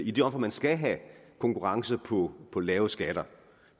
i det omfang man skal have konkurrence på på lave skatter